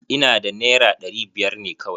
Ina da naira ɗari biyar ne kawai.